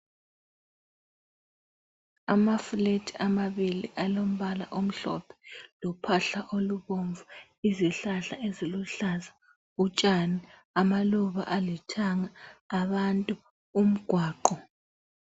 Amaflat amabili alombala omhlophe lophahla olubomvu, izihlahla eziluhlaza, utshani, amaluba alithanga, abantu, umgwaqo.